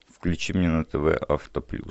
включи мне на тв авто плюс